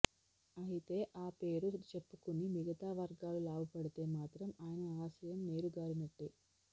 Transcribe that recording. అయితే ఆ పేరు చెప్పుకుని మిగతా వర్గాలు లాభపడితే మాత్రం ఆయన ఆశయం నీరుగారినట్టే